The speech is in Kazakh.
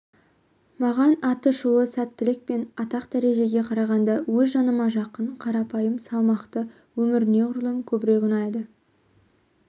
маған аты шулы сәттілік пен атақ-дәрежеге қарағанда өз жаныма жақын қарапайым салмақты өмір неғұрлым көбірек ұнайды